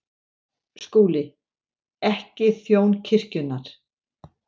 SKÚLI: Ekki þjón kirkjunnar.